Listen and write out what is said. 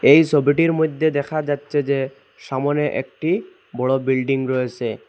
এই ছবিটির মইধ্যে দেখা যাচ্ছে যে সামোনে একটি বড়ো বিল্ডিং রয়েসে ।